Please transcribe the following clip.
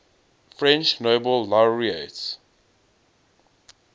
french nobel laureates